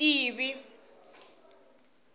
tivi